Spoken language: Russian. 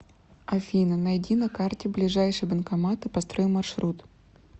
афина найди на карте ближайший банкомат и построй маршрут